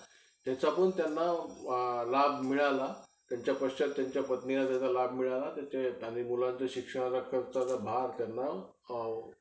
तसाच features चांगले भेटल का आपल्याला